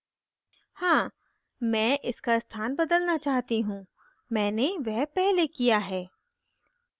हाँ मैं इसका स्थान बदलना चाहती हूँ मैंने वह पहले किया है